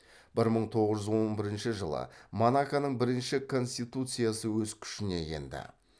бір мың тоғыз жүз он бірінші жылы монаконың бірінші конституциясы өз күшіне енді